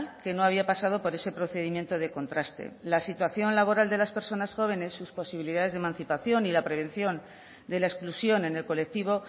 que no había pasado por ese procedimiento de contraste la situación laboral de las personas jóvenes sus posibilidades de emancipación y la prevención de la exclusión en el colectivo